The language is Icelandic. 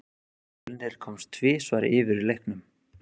Fjölnir komst tvisvar yfir í leiknum.